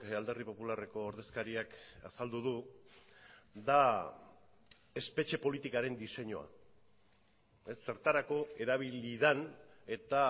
alderdi popularreko ordezkariak azaldu du da espetxe politikaren diseinua zertarako erabili den eta